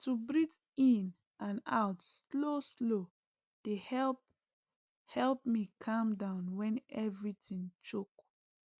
to breathe in and out slowslow dey help help me calm down when everything choke